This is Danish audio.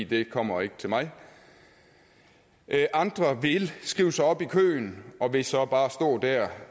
det kommer ikke til mig andre vil skrive sig op i køen og vil så bare stå der